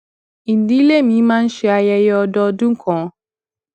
ìdílé mi máa ń ṣe ayẹyẹ ọdọọdún kan